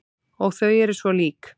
Og þau eru svo lík.